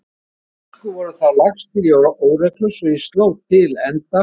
Þeir ensku voru þá lagstir í óreglu svo ég sló til enda